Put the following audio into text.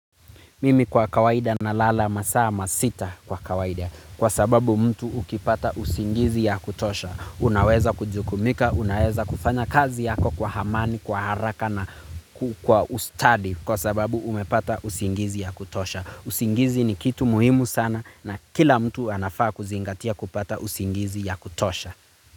Mimi kwa kawaida nalala masita kwa kawaida kwa sababu mtu ukipata usingizi ya kutosha unaweza kujukumika, unaweza kufanya kazi yako kwa hamani, kwa haraka na kwa ustadi kwa sababu umepata usingizi ya kutosha. Usingizi ni kitu muhimu sana na kila mtu anafaa kuzingatia kupata usingizi ya kutosha.